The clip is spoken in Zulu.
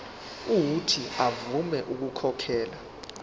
uuthi avume ukukhokhela